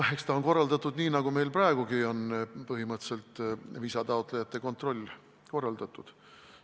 Eks ta on korraldatud nii, nagu meil põhimõtteliselt praegugi on viisataotlejate kontroll korraldatud.